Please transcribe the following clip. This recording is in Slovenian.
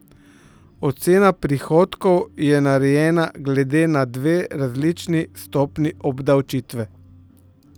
Ocena prihodkov je narejena glede na dve različni stopnji obdavčitve.